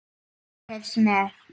Fólkið hreifst með.